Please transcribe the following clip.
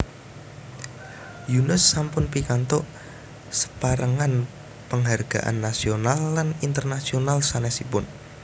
Yunus sampun pikantuk saperangan penghargaan nasional lan internasional sanesipun